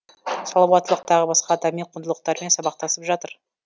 салауаттылық тағы басқа адами құндылықтармен сабақтасып жатыр